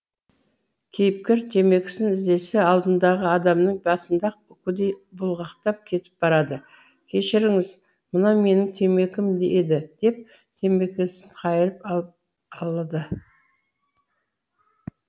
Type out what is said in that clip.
кейіпкер темекісін іздесе алдындағы адамның басында үкідей бұлғақтап кетіп барады кешіріңіз мынау менің темекім еді деп темекісін қайырып алып алады